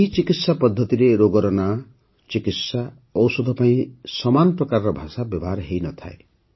ଏହି ଚିକିତ୍ସା ପଦ୍ଧତିରେ ରୋଗର ନାମ ଚିକିତ୍ସା ଔଷଧ ପାଇଁ ସମାନ ପ୍ରକାରର ଭାଷା ବ୍ୟବହାର ହୋଇ ନଥାଏ